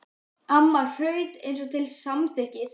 Amma hraut eins og til samþykkis.